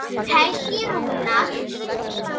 Helgi Rúnar.